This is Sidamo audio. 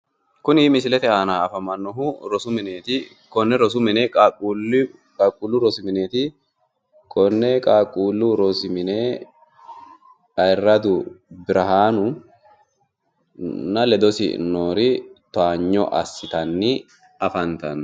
Kuni misilete aana afamanohu qaaqqulu rosu mineti Ayirradu Birhanunna ledosi noori Towaanyo assittanni afantanno